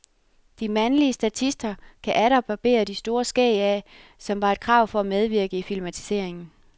De mandlige statister kan atter barbere de store skæg af, som var et krav for at medvirke i filmatiseringen.